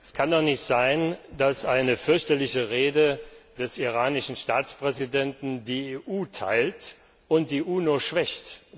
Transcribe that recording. Es kann doch nicht sein, dass eine fürchterliche Rede des iranischen Staatspräsidenten die EU teilt und die UNO schwächt.